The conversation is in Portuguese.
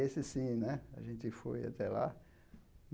Esse, sim né, a gente foi até lá.